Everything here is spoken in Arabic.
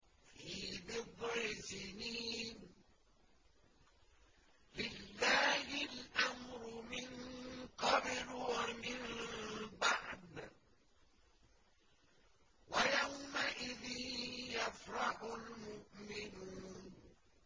فِي بِضْعِ سِنِينَ ۗ لِلَّهِ الْأَمْرُ مِن قَبْلُ وَمِن بَعْدُ ۚ وَيَوْمَئِذٍ يَفْرَحُ الْمُؤْمِنُونَ